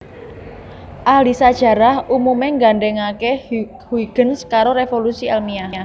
Ahli sajarah umumé nggandhèngaké Huygens karo révolusi èlmiah